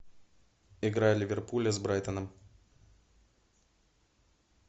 игра ливерпуля с брайтоном